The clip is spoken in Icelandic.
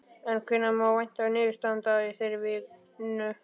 En hvenær má vænta niðurstaðna í þeirri vinnu?